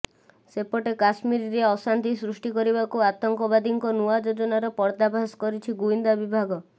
ସେପଟେ କାଶ୍ମୀରରେ ଅଶାନ୍ତି ସୃଷ୍ଟି କରିବାକୁ ଆତଙ୍କବାଦୀଙ୍କ ନୂଆ ଯୋଜନାର ପର୍ଦ୍ଦାଫାସ କରିଛି ଗୁଇନ୍ଦା ବିଭାଗ